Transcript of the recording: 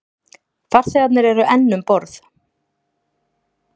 Farþegarnir eru enn um borð